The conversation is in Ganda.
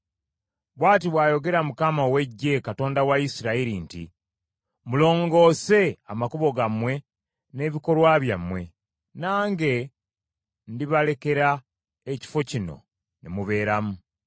Bw’ati bw’ayogera Mukama ow’Eggye, Katonda wa Isirayiri nti, “Mulongoose amakubo gammwe n’ebikolwa byammwe, nange ndibalekera ekifo kino ne mubeeramu.